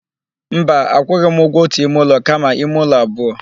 Mba, akwụghị m ụgwọ ótù ime ụlọ kama ime ụlọ abụọ.